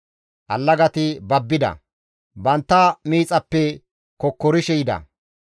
Allagati babbida; bantta miixappe kokkorishe yida.